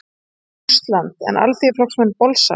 Rússland, en Alþýðuflokksmenn bolsa.